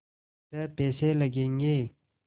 छः पैसे लगेंगे